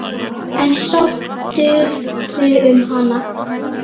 En sóttirðu um hana?